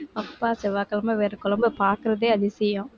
அப்பா செவ்வாய்கிழமை வேற குழம்பை பாக்கறதே, அதிசயம்.